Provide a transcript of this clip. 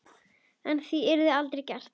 En það yrði aldrei gert.